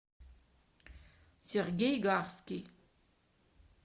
сергей гарский